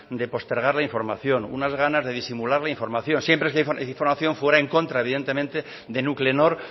de postergar la información unas ganas de disimularla la información siempre que esa información fuera en contra evidentemente de nuclenor